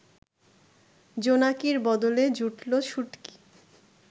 জোনাকির বদলে জুটল শুটকি